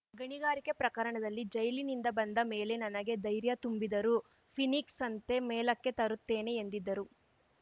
ಗಣಿಗಾರಿಕೆ ಪ್ರಕರಣದಲ್ಲಿ ಜೈಲಿನಿಂದ ಬಂದ ಮೇಲೆ ನನಗೆ ಧೈರ್ಯ ತುಂಬಿದರು ಫೀನಿಕ್ಸಂತೆ ಮೇಲಕ್ಕೆ ತರುತ್ತೇನೆ ಎಂದಿದ್ದರು